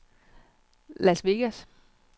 Las Vegas